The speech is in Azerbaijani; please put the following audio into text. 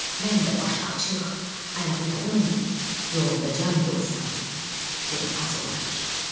Mən də başı açıq, ayaqyalın, yolunda can qoysam, yenə az olar.